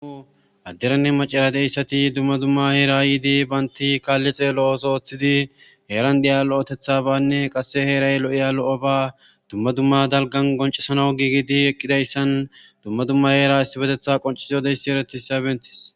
u adderanne macara deyssati dumma dumma heera yiidi baynti kaalli xeelo7os ooththidi heeran diya lo7etetha banne qasse heeray lo7iya lo7o ba dumma dumma dalgan goncesana giigidi eqqidayssan dumma dumma heera issi betetha qoncisi yodeyssi eretis sabentis